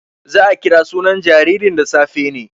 Za a kira sunan jaririn da safe ne.